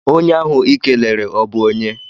Onye ahụ I kelere ọ bụ onye?